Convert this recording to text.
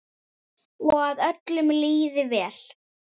Og að öllum liði vel.